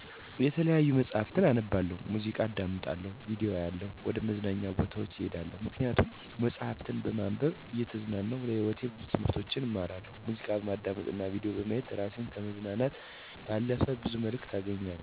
የተለያዩ መጽሀፍትን አነባለሁ፣ ሙዚቃ አዳምጣለሁ፣ ቪዲዮ አያለሁ፣ ወደ መዝናኛ ቦታዎች እሄዳለሁ። ምክንያቱም መጽሀፍትን በማንበብ እየተዝናናሁ ለህይወቴ ብዙ ትምህርቶችን እማራለሁ፣ ሙዚቃ በማዳመጥ እና ቪዲዮ በማየት እራሴን ከማዝናናት ባለፈ ብዙ መልክት አገኛለሁ፣ ወደመዝናኛ ቦታወች በመሄድ በተፈጥሮ እና የሰውን ልጅ የፈጠራ ችሎታ እያደነኩ ስደሰትና እኔ ምን አቅም አለኝ ምን መፍጠር እችላለሁ እያልኩ በደስተኛ አእምሮየ እራሴን ገምግሜ እመለሳለሁ። ከላይ የዘረዘርኳቸው ነገሮች በገለጽኳቸው ምክንያቶች ደስታን እና እውቀትን ከመስጠት ባለፈ የሰውን ልጅ እምቅ አቅም እንዳውቅ እና አቅሜን እንድጠቀም እንዲሁም ተስፋ እንዳልቆርጥ በማድረጋቸው ለአጠቃላይ ደህንነቴ መሰረታዊ ናቸው ብየ አስባለሁ።